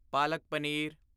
ਪਾਲਕ ਪਨੀਰ